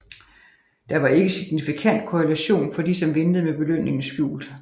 Der var ikke signifikant korrelation for de som ventede med belønningen skjult